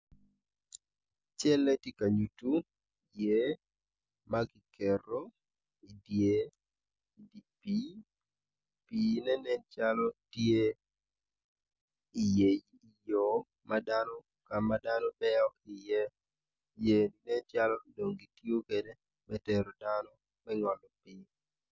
Man kono tye poto anyogi, anyogi man kono odongo mabeco adada pot anyogi man kono tye rangi ma alum alum anyogi miyo itwa cam i yo mapol maclo moko. Anyogi bene ka kibulu bene ki mwodo amwoda.